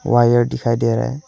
Wire दिखाई दे रहा है।